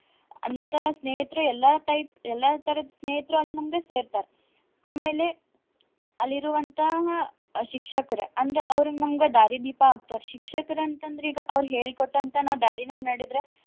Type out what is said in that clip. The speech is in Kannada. ಅಂತಾ ಸ್ನೇಹಿತ್ರು ಎಲ್ಲಾ type ಎಲ್ಲಾ ತರದ್ ಸ್ನೇಹಿತ್ರು ಅಲ್ ನಮ್ಗ ಸೇರ್ತಾರ. ಆಮೇಲೆ ಅಲ್ಲಿರುವಂತಹ ಶಿಕ್ಷಕರು ಅಂದ್ರ ಅವ್ರು ನಮ್ಗ ದಾರಿ ದೀಪ ಆಗ್ತಾರ್ ಶಿಕ್ಷಕರ್ ಅಂತಂದ್ರ ಈಗ ಅವ್ರ ಹೇಳ್ಕೊಟ್ಟಂತ ನಾವ್ ದಾರಿನಾಗ್ ನಡದ್ರ.